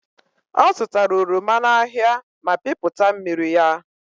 Ọzụtara oroma n'ahịa ma pịpụta mmiri ya.